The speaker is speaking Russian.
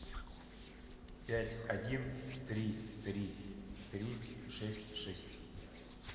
пять один три три три шесть шесть